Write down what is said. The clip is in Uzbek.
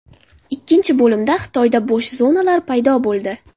Ikkinchi bo‘limda Xitoyda bo‘sh zonalar paydo bo‘ldi.